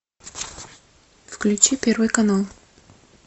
включи первый канал